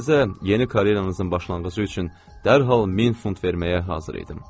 Sizə yeni karyeranızın başlanğıcı üçün dərhal 1000 funt verməyə hazır idim.